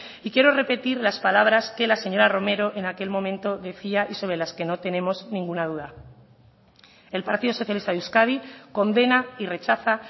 y quiero repetir las palabras que la señora romero en aquel momento decía y sobre las que no tenemos ninguna duda el partido socialista de euskadi condena y rechaza